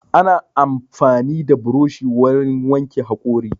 Ana amfani da buroshi wurin wanke haƙora